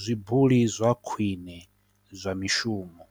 zwibuli zwa khwine zwa mishumo.